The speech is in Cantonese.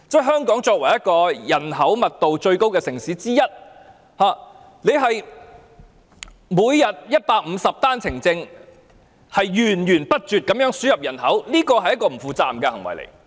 香港作為一個人口密度最高的城市之一，每天有150名持單程證人士入境，源源不絕地輸入人口，這是不負責任的行為。